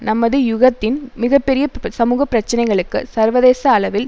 நமது யுகத்தின் மிக பெரிய சமூகப்பிரச்சனைகளுக்கு சர்வதேச அளவில்